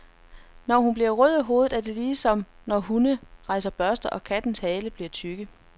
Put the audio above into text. Når hun bliver rød i hovedet, er det ligesom, når hunde rejser børster, eller kattes haler bliver tykke.